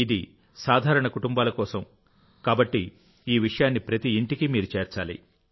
ఇది సాధారణ కుటుంబాల కోసం కాబట్టి ఈ విషయాన్ని ప్రతి ఇంటికి మీరు చేర్చాలి